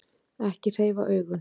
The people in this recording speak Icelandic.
Ekki hreyfa augun.